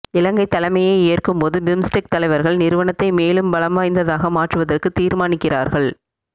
இலங்கை தலைமையை ஏற்கும்போது பிம்ஸ்டெக் தலைவர்கள் நிறுவனத்தை மேலும் பலம் வாய்ந்ததாக மாற்றுவதற்கு தீர்மானிக்கிறார்கள்